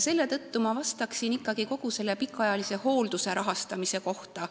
Selle tõttu ma vastaksin ikkagi kogu pikaajalise hoolduse rahastamise kohta.